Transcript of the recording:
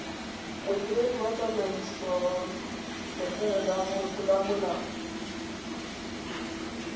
modiredi wa tsamaisoeesa letleleleng motlolamolao